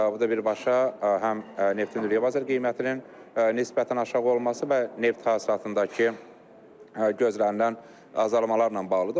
Bu da birbaşa həm neftin dünya bazar qiymətinin nisbətən aşağı olması və neft hasilatındakı gözlənilən azalmalarla bağlıdır.